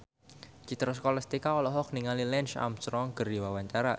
Citra Scholastika olohok ningali Lance Armstrong keur diwawancara